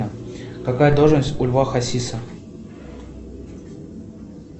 какая должность у льва хасиса